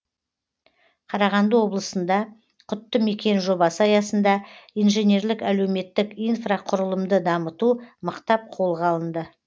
қарағанды облысында құтты мекен жобасы аясында инженерлік әлеуметтік инфрақұрылымды дамыту мықтап қолға алынды